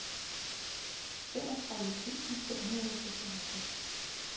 femogtredive tusind fem hundrede og seksoghalvtreds